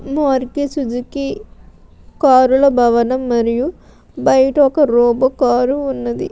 Maruti Suzuki car ల భవనం మరియు బైట ఒక రోబో కారు ఉన్నది.